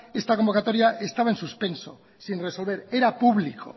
esta convocatoria estaba en suspenso sin resolver era público